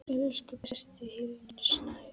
Elsku besti Hlynur Snær.